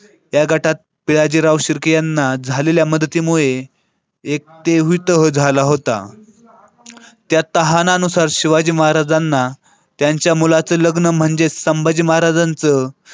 त्या गटात पिलाजीराव शिर्के यांना झालेल्या मदतीमुळे एक तेहवी तह झाला होता. त्या तहानुसार शिवाजी महाराजांना त्यांच्या मुलाचं लग्न म्हणजे संभाजी महाराजांचं.